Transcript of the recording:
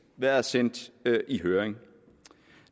været sendt i høring